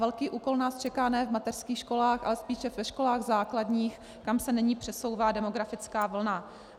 Velký úkol nás čeká ne v mateřských školách, ale spíše ve školách základních, kam se nyní přesouvá demografická vlna.